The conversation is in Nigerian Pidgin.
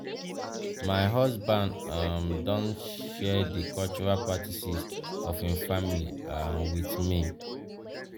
my husband um don share di cultural practices of im family um with me. um